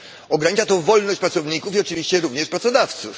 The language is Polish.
Ogranicza to wolność pracowników i oczywiście również pracodawców.